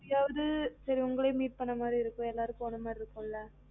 இப்பயாவது சரி உங்களையும் meet பண்ண மாதுரி இருக்கும் எல்லாரும் போன மாதிரி இருக்கும் ல